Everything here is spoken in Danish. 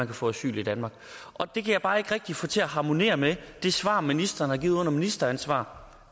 kan få asyl i danmark og det kan jeg bare ikke rigtig få til at harmonere med det svar ministeren har givet under ministeransvar